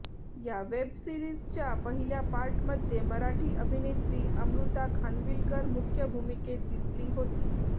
या वेब सीरिजच्या पहिल्या पार्टमध्ये मराठी अभिनेत्री अमृता खानविलकर मुख्य भूमिकेत दिसली होती